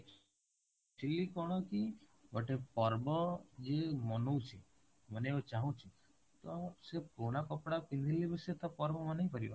କଣ କି ଗୋଟେ ପର୍ବ ଯିଏ ମନଉଛି ମନେଇବାକୁ ଚାହୁଁଛି ତ ସେ ପୁରୁଣା କପଡା ପିନ୍ଧିଲେ ବି ସେ ତ ପର୍ବ ମନେଇ ପାରିବ